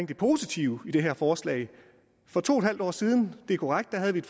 det positive i det her forslag for to en halv år siden det er korrekt havde vi